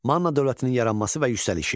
Manna dövlətinin yaranması və yüksəlişi.